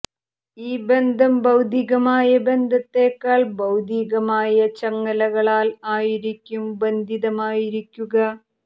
ഈ ബന്ധം ഭൌതികമായ ബന്ധത്തെക്കാൾ ബൌധീകമായ ചങ്ങലകളാൽ ആയിരിക്കും ബന്ധിതമായിരിക്കുക